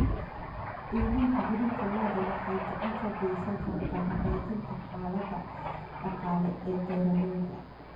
Iibinta hilibka lo'da waxay gacan ka geysan kartaa hagaajinta xaaladda dhaqaale ee beeralayda.